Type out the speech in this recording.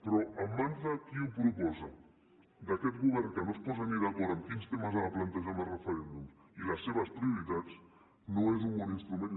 però en mans de qui ho proposa d’aquest govern que no es posa ni d’acord en quins temes ha de plantejar en els referèndums i les seves prioritats no és un bon instrument